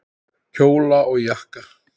Kjóla og jakka.